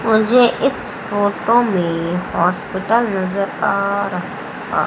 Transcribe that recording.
मुझे इस फोटो में हॉस्पिटल नजर आ रहा आ--